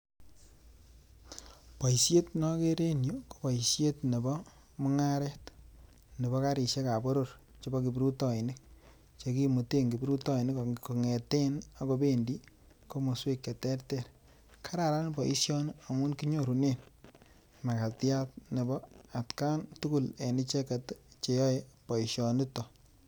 Boisiet ne akere en yu, ko boisiet nebo mungaret nebo garisiekab boror chebo kiprutoinik, che kimuten kiprutoinik kongeten ako bendi komoswek che terter, kararan boisioni amu kinyorunen makatiat nebo atkan tugul en icheket che yoei boisionito.